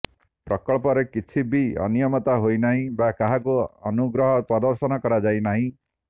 ପ୍ରକଳ୍ପରେ କିଛି ବି ଅନିୟମିତତା ହୋଇନାହିଁ ବା କାହାକୁ ଅନୁଗ୍ରହ ପ୍ରଦର୍ଶନ କରାଯାଇନାହିଁ